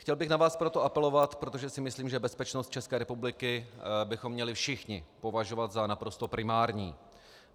Chtěl bych na vás proto apelovat, protože si myslím, že bezpečnost České republiky bychom měli všichni považovat za naprosto primární.